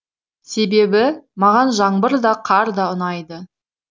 себебі маған жаңбыр да қар да ұнайды